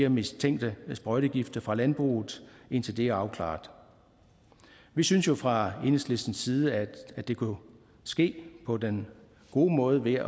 mistænkte sprøjtegifte fra landbruget indtil det er afklaret vi synes jo fra enhedslistens side at det kunne ske på den gode måde ved